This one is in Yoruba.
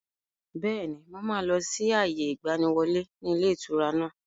Bẹ́ẹ̀ni, mo máa lọ sí àyè ìgbàníwọlé ni ilé ìtura náà.